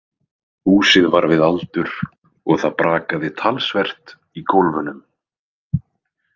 Húsið var við aldur og það brakaði talsvert í gólfunum.